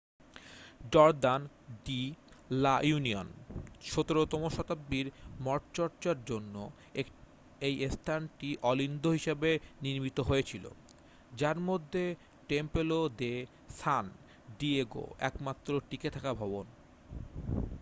Jordan de la Union 17 তম শতাব্দীর মঠচর্চার জন্য এই স্থানটি অলিন্দ হিসাবে নির্মিত হয়েছিল যার মধ্যে টেম্পলো দে সান ডিয়েগো একমাত্র টিকে থাকা ভবন